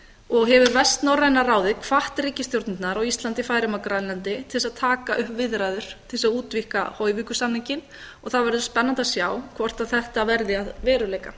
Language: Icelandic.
og hefur vestnorræna ráðið hvatt ríkisstjórnirnar á íslandi færeyjum og grænlandi til þess að taka upp viðræður til þess að útvíkka hoyvíkursamninginn og það verður spennandi að sjá hvort þetta verði að veruleika